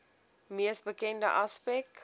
mees bekende aspek